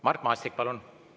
Mart Maastik, palun!